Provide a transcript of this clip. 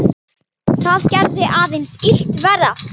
Það gerði aðeins illt verra.